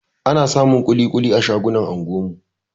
Ana samun kuli-kuli a shagunan anguwan mu